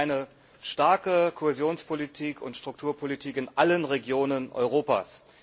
Wir wollen eine starke Kohäsionspolitik und Strukturpolitik in allen Regionen Europas.